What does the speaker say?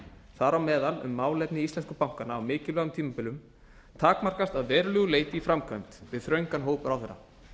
þar á meðal um málefni íslensku bankanna á mikilvægum tímabilum takmarkast að verulegu leyti í framkvæmd við þröngan hóp ráðherra